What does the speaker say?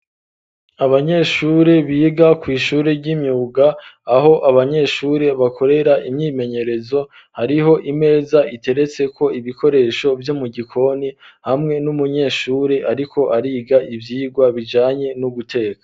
Abanyeshuri biga kw'ishuri ry'imyuga, aho abanyeshuri bakorera imyimenyerezo, hariho imeza iteretseko ibikoresho vyo mu gikoni ,hamwe n'umunyeshuri ariko ariga ivyigwa bijanye no guteka.